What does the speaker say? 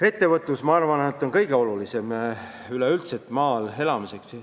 Ettevõtlus on maal elamise seisukohalt üldse kõige olulisem.